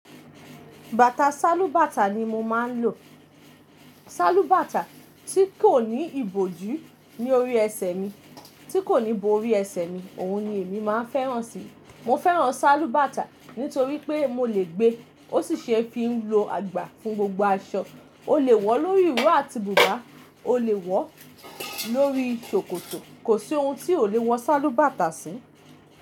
Bàtà sálúbàtà ni mo máa ń lò. Sálúbàtà tí kò ní ìbòjú ní orí ẹsẹ̀ mi, tí kò ní bo orí ẹsẹ̀ mi, òun ni èmi máa ń fẹ́ràn sí i. Mo fẹ́ràn sálúbàtà nítorí pé mo lè gbé, ó sì ṣe é fi ń lo àgbà fún gbogbo aṣọ. O lè wọ̀ lórí ìró àti bùbá, o lè wọ̀ lórí ṣòkòtò, kò sí ohun tí o lè wọn sálúbàtà sí.